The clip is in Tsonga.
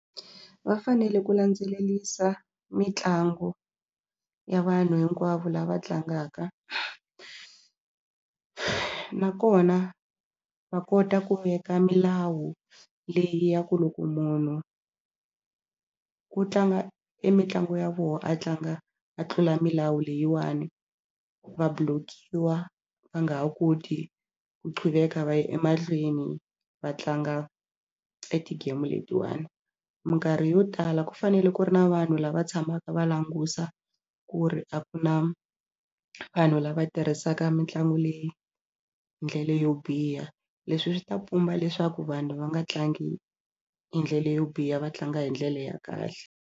Va fanele ku landzelerisa mitlangu ya vanhu hinkwavo lava tlangaka nakona va kota ku veka milawu leyi ya ku loko munhu ku tlanga e mitlangu ya vona a tlanga a tlula milawu leyiwani va block-iwa va nga ha koti ku qhubeka va ya emahlweni va tlanga eti-game letiwani. Minkarhi yo tala ku fanele ku ri na vanhu lava tshamaka va languta ku ri a ku na vanhu lava tirhisaka mitlangu leyi ndlela yo biha leswi swi ta pumba leswaku vanhu va nga tlangi hi ndlela yo biha va tlanga hi ndlela ya kahle.